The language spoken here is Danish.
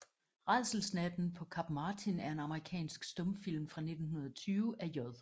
Rædselsnatten paa Kap Martin er en amerikansk stumfilm fra 1920 af J